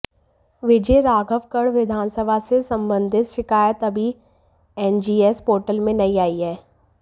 विजयराघवगढ़ विधानसभा से संबंधित शिकायत अभी एनजीएस पोर्टल में नहीं आई है